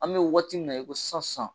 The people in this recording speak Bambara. An mi waati min na, i ko sisan sisan